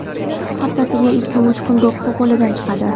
Haftasiga ikki-uch do‘ppi qo‘lidan chiqadi.